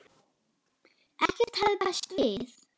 Ekkert hafði bæst við.